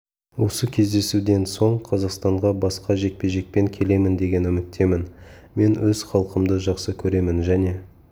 осы кездесуден соң қазақстанға басқа жекпе-жекпен келемін деген үміттемін мен өз халқымды жақсы көремін және